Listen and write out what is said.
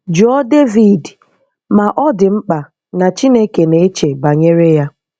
Jụọ David ma ọ̀ dị mkpa na Chineke na-eche banyere ya.